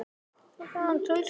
Ég segi þér það seinna.